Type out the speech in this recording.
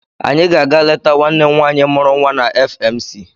Anyị ga-aga leta nwanne m nwaanyị mụrụ nwa na FMC.